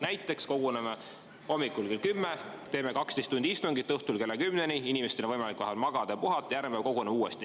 Näiteks koguneme hommikul kell 10, teeme 12 tundi istungit, õhtul kella 10-ni, siis on inimestel vahepeal võimalik magada ja puhata ning järgmisel päeval koguneme uuesti.